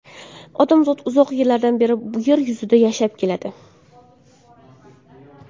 Odamzot uzoq yillardan beri yer yuzida yashab keladi.